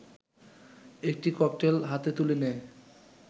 একটি ককটেল হাতে তুলে নেয়